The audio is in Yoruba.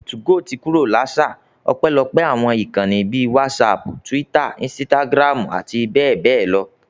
2go ti kúrò l'áṣà, ọpẹ́lọpẹ́ àwọn ìkànnì bíi whatsapp, Twitter, Instagram, àti bẹ́ẹ̀ bẹ́ẹ̀ lọ